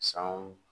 Sanw